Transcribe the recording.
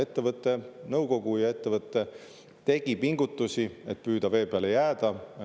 Ettevõtte nõukogu ja ettevõte tegid pingutusi, et püüda vee peale jääda.